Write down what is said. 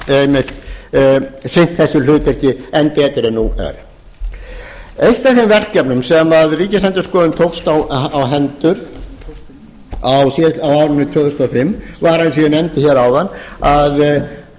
einmitt sinnt þessu hlutverki enn betur en nú er eitt af þeim verkefnum sem ríkisendurskoðun tókst á hendur á árinu tvö þúsund og fimm var eins og ég nefndi hér áðan að